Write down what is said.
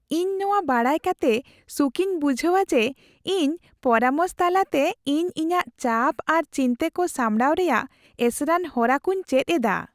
ᱤᱧ ᱱᱚᱣᱟ ᱵᱟᱰᱟᱭ ᱠᱟᱛᱮᱜ ᱥᱩᱠ ᱤᱧ ᱵᱩᱡᱷᱟᱹᱣᱟ ᱡᱮ ᱤᱧ ᱯᱚᱨᱟᱢᱚᱥ ᱛᱟᱞᱟᱛᱮ, ᱤᱧ ᱤᱧᱟᱹᱜ ᱪᱟᱯ ᱟᱨ ᱪᱤᱱᱛᱟᱹᱧ ᱠᱚ ᱥᱟᱢᱲᱟᱣ ᱨᱮᱭᱟᱜ ᱮᱥᱮᱨᱟᱱ ᱦᱚᱨᱟ ᱠᱚᱧ ᱪᱮᱫ ᱮᱫᱟ ᱾